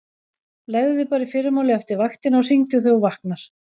Leggðu þig bara í fyrramálið eftir vaktina og hringdu þegar þú vaknar.